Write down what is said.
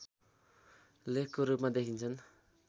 लेखको रूपमा देखिन्छन्